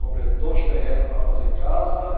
Comprei dois terreno para fazer casa.